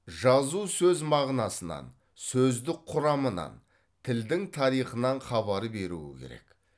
жазу сөз мағынасынан сөздік құрамынан тілдің тарихынан хабар беруі керек